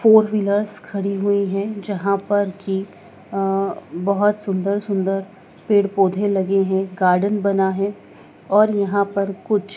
four wheelers खड़ी हुई है जहां पर की अं बहोत सुंदर सुंदर पेड़ पौधे लगे हैं गार्डन बना है और यहां पर कुछ--